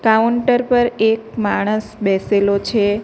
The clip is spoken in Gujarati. કાઉન્ટર પર એક માણસ બેસેલો છે.